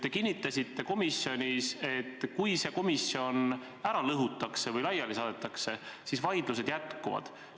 Te kinnitasite komisjonis, et kui see komisjon laiali saadetakse, siis vaidlused jätkuvad.